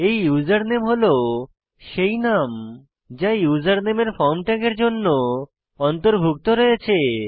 এই ইউজারনেম হল সেই নাম যা উসের নামে এর ফর্ম ট্যাগের জন্য অন্তর্ভুক্ত রয়েছে